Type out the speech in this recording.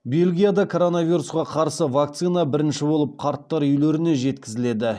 бельгияда коронавирусқа қарсы вакцина бірінші болып қарттар үйлеріне жеткізіледі